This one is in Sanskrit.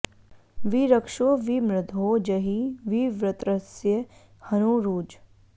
वि रक्षो॒ वि मृधो॑ जहि॒ वि वृ॒त्रस्य॒ हनू॑ रुज